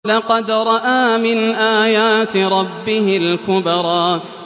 لَقَدْ رَأَىٰ مِنْ آيَاتِ رَبِّهِ الْكُبْرَىٰ